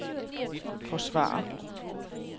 forsvare